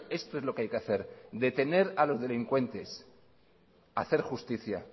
esto es lo que hay que hacer detener a los delincuentes hacer justicia